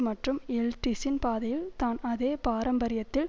மற்றும் எல்ட்சின் பாதையில் தான் அதே பாரம்பரியத்தில்